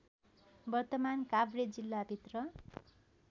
वर्तमान काभ्रे जिल्लाभित्र